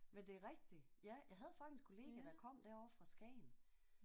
Men det er rigtigt. Ja jeg havde faktisk en kollega der kom derovre fra Skagen